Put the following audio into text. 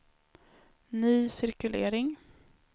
ny cirkulering